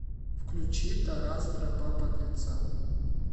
включи тарас тропа подлеца